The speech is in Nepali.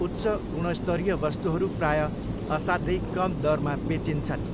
उच्च गुणस्तरीय वस्तुहरू प्रायः असाध्यै कम दरमा बेचिन्छन्।